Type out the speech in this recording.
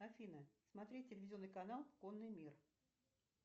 афина смотреть телевизионный канал конный мир